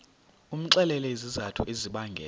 umxelele izizathu ezibangela